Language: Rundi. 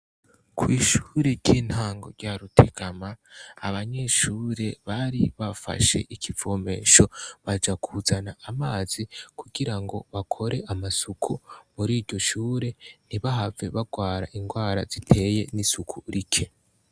kwishure ry'intango rya rutegama abanyeshure bari bafashe ikivomesho baja kuzana amazi kugira ngo bakore amasuku muri iryo shure ntibahave bagwara indwara ziteye n'isuku rike